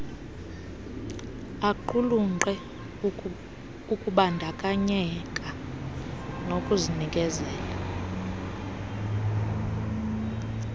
aqulunqe ukubandakanyeka nokuzinikezela